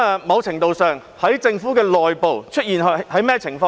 某程度上......政府內部又出現甚麼情況呢？